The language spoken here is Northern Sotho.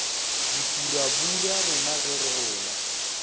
dipurabura rena ge re gola